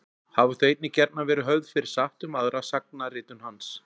Hafa þau einnig gjarnan verið höfð fyrir satt um aðra sagnaritun hans.